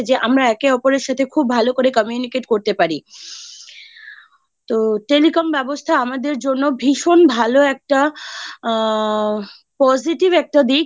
আমরা একে অপরের সাথে খুব ভাল করে communicate করতে পারি। তো Telecom ব্যবস্থা আমাদের জন্য ভীষণ ভালো একটা আ Positive একটা দিক